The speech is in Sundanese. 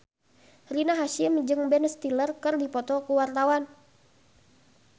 Rina Hasyim jeung Ben Stiller keur dipoto ku wartawan